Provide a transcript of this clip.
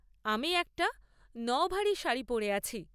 আমি একটা নওভারি শাড়ি পরে আছি।